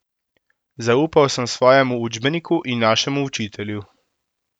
Zaupal sem svojemu učbeniku in našemu učitelju.